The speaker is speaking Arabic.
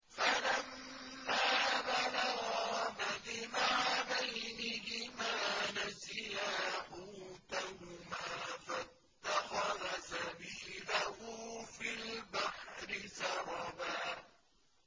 فَلَمَّا بَلَغَا مَجْمَعَ بَيْنِهِمَا نَسِيَا حُوتَهُمَا فَاتَّخَذَ سَبِيلَهُ فِي الْبَحْرِ سَرَبًا